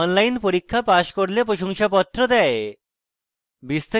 online পরীক্ষা pass করলে প্রশংসাপত্র দেয়